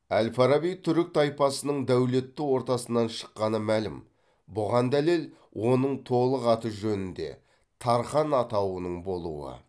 әл фараби түрік тайпасының дәулетті ортасынан шыққаны мәлім бұған дәлел оның толық аты жөнінде тархан атауының болуы